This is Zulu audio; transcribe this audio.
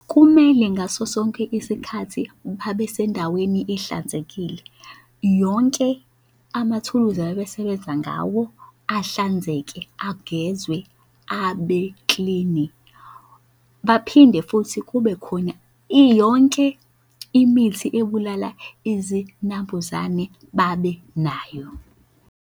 Kumele ngaso sonke isikhathi babe sendaweni ehlanzekile. Yonke amathuluzi abesebenza ngawo ahlanzeke agezwe abeklini. Baphinde futhi kube khona iyonke imithi ebulala izinambuzane babe nayo.